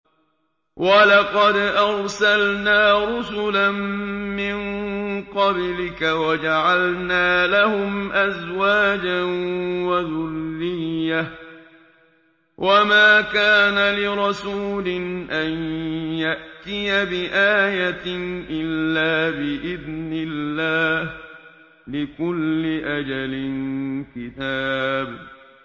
وَلَقَدْ أَرْسَلْنَا رُسُلًا مِّن قَبْلِكَ وَجَعَلْنَا لَهُمْ أَزْوَاجًا وَذُرِّيَّةً ۚ وَمَا كَانَ لِرَسُولٍ أَن يَأْتِيَ بِآيَةٍ إِلَّا بِإِذْنِ اللَّهِ ۗ لِكُلِّ أَجَلٍ كِتَابٌ